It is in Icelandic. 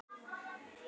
Stirð í brú ei fer.